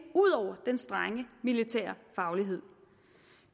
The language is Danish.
ud over den strenge militære faglighed